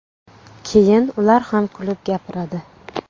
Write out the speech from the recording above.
Keyin ular ham kulib gapiradi.